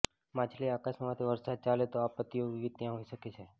માછલી આકાશમાં માંથી વરસાદ ચાલે તો આપત્તિઓ વિવિધ ત્યાં હોઈ શકે છે